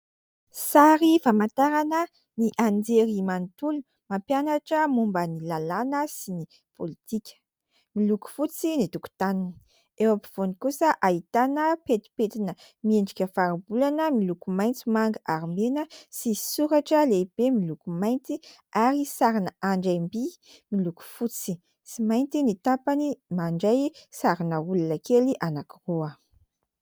Sary famantarana ny anjerimanontolo mampianatra momba ny lalàna sy ny politika. Miloko fotsy ny tokotaniny, eo afovoany kosa ahitana pentipentina miendrika faribolana miloko maitso, manga ary mena sy soratra lehibe miloko mainty ary sarina andriamby miloko fotsy sy mainty ny tapany, mandray sarina olona kely anankiroa.